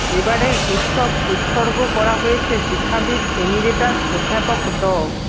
এবারের উৎসব উৎসর্গ করা হয়েছে শিক্ষাবিদ এমিরেটাস অধ্যাপক ড